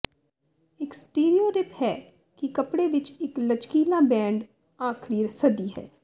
ਇਕ ਸਟੀਰੀਓਰਿਪ ਹੈ ਕਿ ਕੱਪੜੇ ਵਿਚ ਇਕ ਲਚਕੀਲਾ ਬੈਂਡ ਆਖਰੀ ਸਦੀ ਹੈ